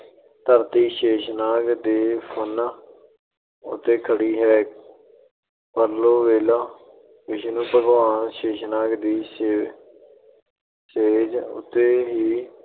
ਧਰਤੀ ਸ਼ੇਸ਼ਨਾਗ ਦੇ ਫਣਾਂ ਉੱਤੇ ਖੜੀ ਹੈ। ਪਰਲੋ ਵੇਲੇ ਵਿਸ਼ਨੂੰ ਭਗਵਾਨ ਸ਼ੇਸ਼ਨਾਗ ਦੀ ਸੇਜ ਅਹ ਸੇਜ ਉਤੇ ਹੀ